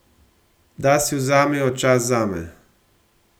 Da si vzamejo čas zame.